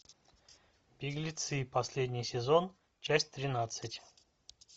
беглецы последний сезон часть тринадцать